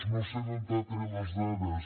no sé d’on ha tret les dades